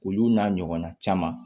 Olu n'a ɲɔgɔnna caman